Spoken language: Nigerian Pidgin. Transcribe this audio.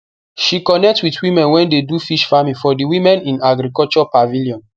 she connect with women wey dey do fish farming for di women in agriculture pavilion